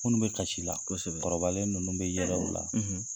Minnu bɛ kasi la kɔrɔbalen ninnu bɛ yɛlɛ u la.